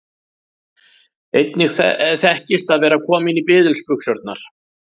Einnig þekkist að vera kominn í biðilsbuxurnar.